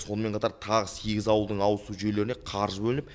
сонымен қатар тағы сегіз ауылдың ауызсу жүйелеріне қаржы бөлініп